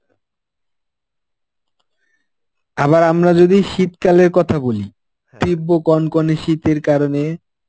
আবার আমরা যদি শীতকালের কথা বলি. তীব্র কনকনে শীতের কারণে